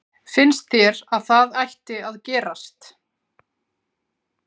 Finnst þér að það ætti að gerast?